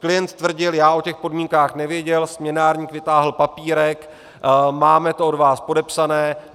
Klient tvrdil: já o těch podmínkách nevěděl", směnárník vytáhl papírek: máme to od vás podepsané.